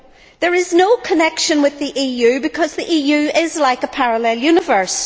There is no connection with the EU, because the EU is like a parallel universe.